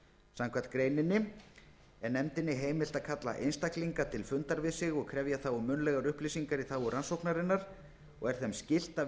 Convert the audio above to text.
samkvæmt greininni er nefndinni heimilt að kalla einstaklinga til fundar við sig og krefja þá um munnlegar upplýsingar í þágu rannsóknarinnar og er þeim skylt að